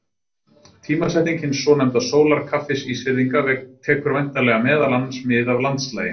Tímasetning hins svonefnda sólarkaffis Ísfirðinga tekur væntanlega meðal annars mið af landslagi.